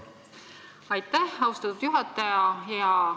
Aitäh, austatud juhataja!